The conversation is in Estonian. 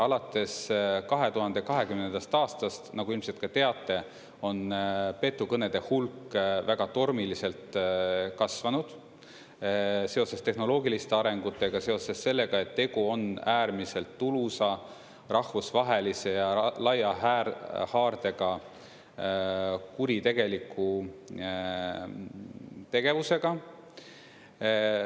Alates 2020. aastast, nagu ilmselt ka teate, on petukõnede hulk väga tormiliselt kasvanud seoses tehnoloogiliste arengutega, seoses sellega, et tegu on äärmiselt tulusa, rahvusvahelise ja laia haardega kuritegeliku tegevusega.